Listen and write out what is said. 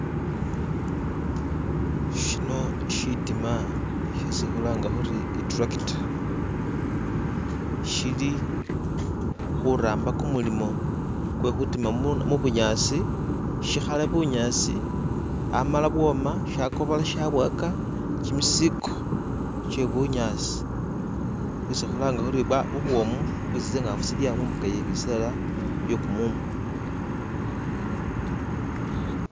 Shino shitima shesi khulanga khuri iturakita shili khuramba kumulimo kwekutima mubunyasi shikhale bunyasi hamala bwoma shakobola shabwaka kyimisiko kyebunyasi bwesi khulanga khuri bwa bubwomu bwesi tsingafu tsilya mumbukha yebisela byekumumu